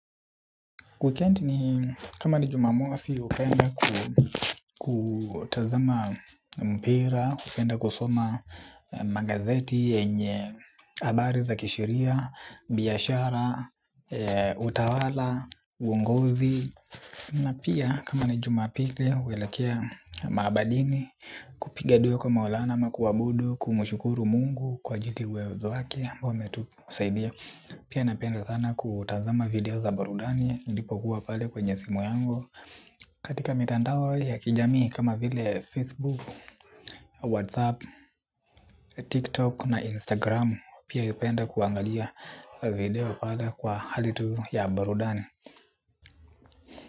Wikendi ni kama ni jumamosi upenda kutazama mpira, upenda kusoma magazeti, yenye abari za kisheria, biashara, utawala, uongozi. Na pia kama na jumapili uelekea maabadini kupiga dua kwa maulana ama kuabudu kumshukuru mungu kwa ajili ya uwezo wake ambao ametusaidia. Pia napenda sana kutazama video za barudani ilipokuwa pale kwenye simu yangu. Katika mitandao ya kijami kama vile Facebook, Whatsapp, TikTok na Instagram Pia uipenda kuangalia video pale kwa halitu ya barudani.